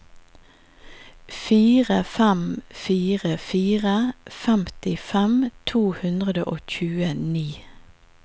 fire fem fire fire femtifem to hundre og tjueni